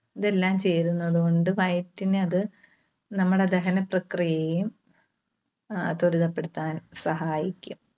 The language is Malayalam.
ഇതെല്ലാം ചേരുന്നത് കൊണ്ട് വയറ്റിന് അത് നമ്മുടെ ദഹനപ്രക്രിയയെയും ആഹ് ത്വരിതപ്പെടുത്താൻ സഹായിക്കും.